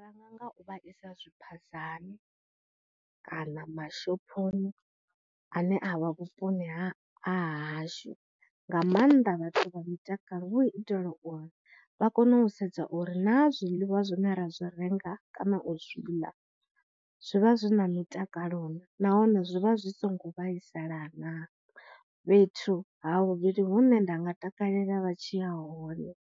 Ranga nga u vha isa zwiphazani kana mashophoni ane a vha vhuponi ha hashu, nga maanḓa vhathu vha mitakalo hu u itela uri vha kone u sedza uri na zwiḽiwa zwine ra zwi renga kana u zwi ḽa, zwivha zwi na mutakalo nahone zwi vha zwi songo vhaisala na. Fhethu ha vhuvhili hune nda nga takalela vha tshi ya hone